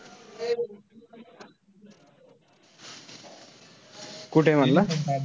कुठे आहे म्हंटला?